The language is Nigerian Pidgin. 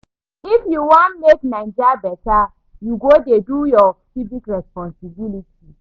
If you wan make Naija beta, you go dey do your civic responsibility.